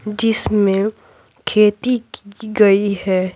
जिसमें खेती की गई है।